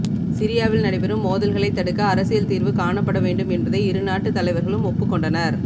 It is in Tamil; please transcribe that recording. சிரியாவில் நடைபெறும் மோதல்களைத் தடுக்க அரசியல் தீர்வு காணப்பட வேண்டும் என்பதை இருநாட்டுத் தலைவர்களும் ஒப்புக்கொண்டனர்